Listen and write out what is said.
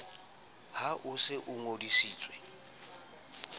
ha o se o ngodisitswe